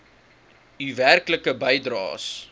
u werklike bydraes